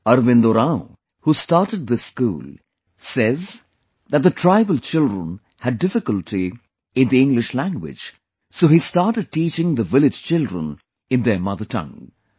Arvind Oraon, who started this school, says that the tribal children had difficulty in English language, so he started teaching the village children in their mother tongue